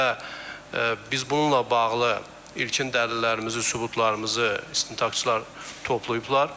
Və biz bununla bağlı ilkin dəlillərimizi, sübutlarımızı istintaqçılar toplayıblar.